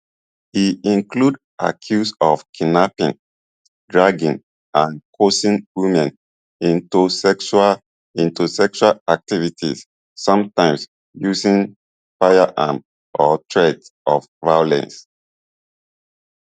e include accuse of kidnapping drugging and coercing women into sexual into sexual activities sometimes using firearms or threats of violence